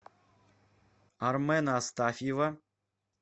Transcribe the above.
армена астафьева